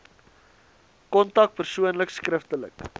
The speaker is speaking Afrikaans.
kontak persoonlik skriftelik